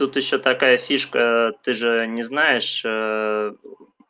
тут ещё такая фишка ты же не знаешь